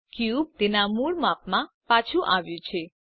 cube તેના મૂળ માપમાં પાછું આવ્યું છે